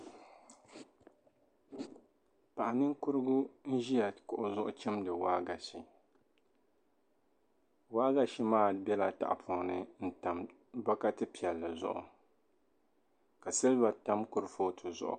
paɣa ninkurigu n-ʒia kuɣu zuɣu chimdi waagashi waagashi maa bela tahapɔŋ ni n-tam bɔkati piɛlli zuɣu ka siliba tam kurifooti zuɣu